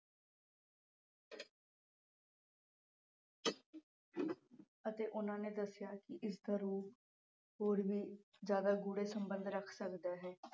ਅਤੇ ਉਨ੍ਹਾਂ ਨੇ ਦੱਸਿਆ ਕਿ ਇਸ ਦਾ ਰੂਪ ਹੋਰ ਵੀ ਜਿਆਦਾ ਗੂੜੇ ਸੰਬੰਧ ਰੱਖ ਸਕਦਾ ਹੈ।